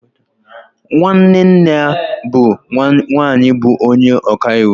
Nwanne nne ya nke nwaanyị bụ onye ọka iwu